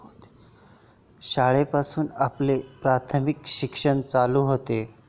शाळेपासून आपले प्राथमिक शिक्षण चालू होते.